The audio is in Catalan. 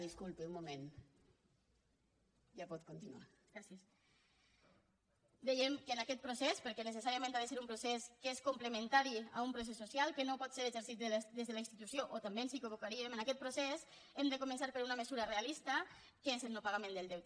dèiem que en aquest procés perquè necessàriament ha de ser un procés que és complementari a un procés social que no pot ser exercit des de la institució o també ens equivocaríem en aquest procés hem de començar per una mesura realista que és el no pagament del deute